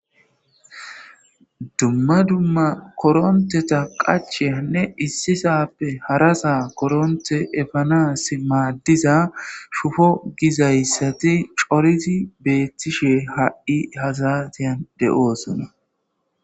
Dumma dumma koronteta qachenne issisappe harasaa koronte efanas maaddiza shufo gizayssati coriti beettishe ha'i hasatiyan de'oosona.